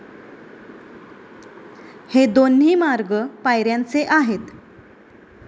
हे दोन्ही मार्ग पायऱ्यांचे आहेत.